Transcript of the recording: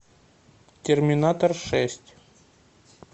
терминатор шесть